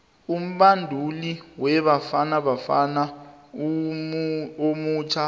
umbanduli webafana bafana omutjha